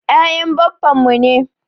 Ya'yan baffan mu ne.